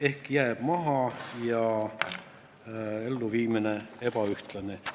" Ehk siis ta jääb maha ja reformide elluviimine on ebaühtlane.